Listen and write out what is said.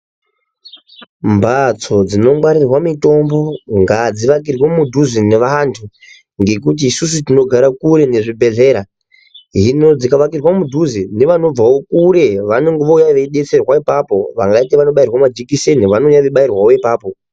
Mhatso dzinongwarirwa mutombo ngadziakirwe mudhuze neantu ngekuti isusu tinogara kure nezvibhedhlera hino dzikavakirwa mudhuze nevanobva kure vanouya veidetserwa ipapo kana vati vanoda kubairwe majikiseni vanouya vachibairwawo ipapo.